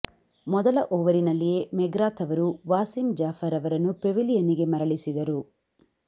ಮೊದಲ ಓವರಿನಲ್ಲಿಯೇ ಮೆಗ್ರಾಥ್ ಅವರು ವಾಸಿಂ ಜಾಫರ್ ಅವರನ್ನು ಪೆವಿಲಿಯನ್ನಿಗೆ ಮರಳಿಸಿದರು